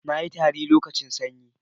na yi tari lokacin sanyi